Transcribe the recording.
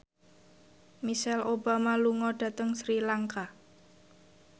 Michelle Obama lunga dhateng Sri Lanka